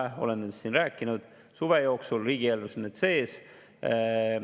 Suve jooksul oleme nendest siin rääkinud ja riigieelarves on need sees.